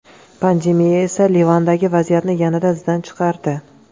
Pandemiya esa Livandagi vaziyatni yanada izdan chiqardi.